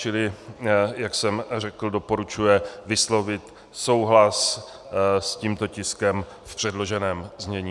Čili jak jsem řekl, doporučuje vyslovit souhlas s tímto tiskem v předloženém znění.